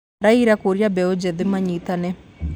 Raila kũũria mbeũ nĵĩthĩ manyitane